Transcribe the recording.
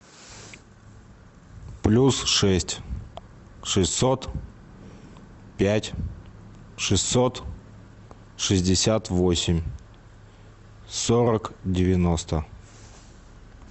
плюс шесть шестьсот пять шестьсот шестьдесят восемь сорок девяносто